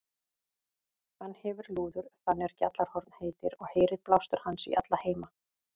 Hann hefir lúður þann er Gjallarhorn heitir, og heyrir blástur hans í alla heima.